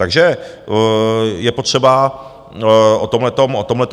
Takže je potřeba o tomhletom hovořit.